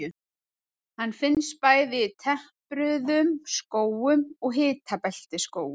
Hann finnst bæði í tempruðum skógum og hitabeltisskógum.